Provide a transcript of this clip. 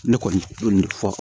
Ne kɔni fɔ